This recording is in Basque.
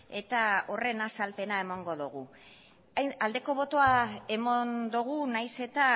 eta horren azalpena emango dugu aldeko botoa eman dugu nahiz eta